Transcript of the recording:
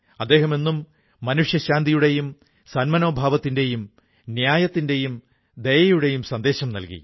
അദ്ദേഹം എന്നും ശാന്തിയുടെയും സന്മനോഭാവത്തിന്റെയും ന്യായത്തിന്റെയും ദയയുടെയും സന്ദേശം മനുഷ്യ കുലത്തിന് നല്കി